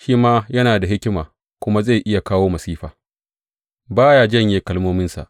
Shi ma yana da hikima kuma zai iya kawo masifa; ba ya janye kalmominsa.